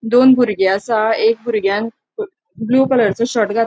दोन बुरगे असा एक बुर्ग्यान ब्लू कलरचो शर्ट घा --